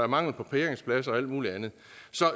mangel på parkeringspladser og alt muligt andet